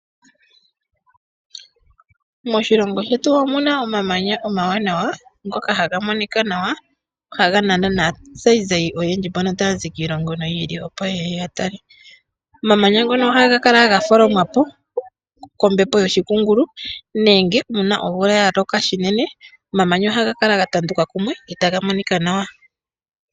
Moshilongo shetu omuna omamanya omawanawa ngoka haga monika nawa, haga nana naazayizayi oyendji mbono taya zi yiili noyili opo yeye yatale. Omamanya ngono ohaga kala gatholomwapo kombepo yoshikungulu nenge uuna omvula yaloka shinene , omamanya ohaga kala gatanduka kumwe etaga monika nawa.